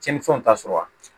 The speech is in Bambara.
Tiɲɛnifɛnw t'a sɔrɔ wa